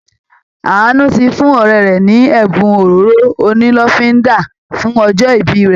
Àánú ti fún ọ̀rẹ́ rẹ̀ ní ẹ̀bùn òróró onílọ́fínńdà fún ọjọ́ ìbí rẹ